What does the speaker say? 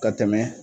Ka tɛmɛ